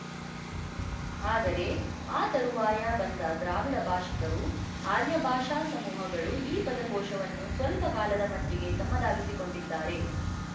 ಆದರೆ ಆ ತರುವಾಯ ಬಂದ ದ್ರಾವಿಡ ಭಾಶಿಕರು ಆರ್ಯ ಭಾಷಾ ಸಮೂಹಗಳು ಈ ಪದಕೋಶವನ್ನು ಸ್ವಲ್ಪಕಾಲದ ಮಟ್ಟಿಗೆ ತಮ್ಮದಾಗಿಸಿಕೊಂಡಿದ್ದಾರೆ